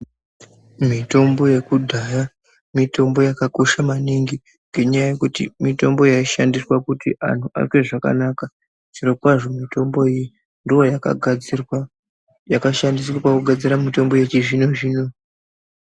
Mitombo yekudhaya mitombo yakakosha maningi ngenyaya yekuti mitombo yaishandiswa kuti antu aite zvakanaka zvirokwazvo mitombo iyi ndiyo yakashandiswa pakugadzira mitombo yechizvino zvino .